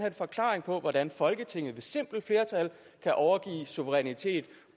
en forklaring på hvordan folketinget ved simpelt flertal kan overgive suverænitet